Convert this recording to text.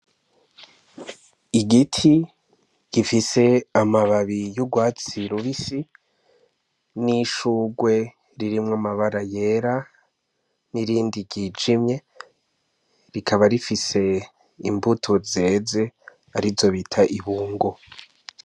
Igiti gifise amababi y'ugwatsi rubisi, n'ishurwe ririmwo amabara yera, n'irindi ryijimye, rikaba rifise imbuto zeze ar'izo bita ibungo.